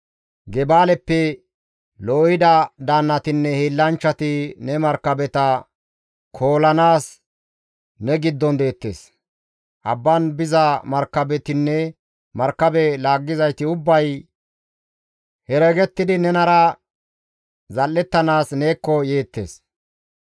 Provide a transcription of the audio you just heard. Gebaaleppe loohida daannatinne hiillanchchati ne markabeta koolanaas ne giddon deettes; abba bollara biza markabetinne markabe laaggizayti ubbay heregettidi nenara zal7ettanaas neekko yeettes.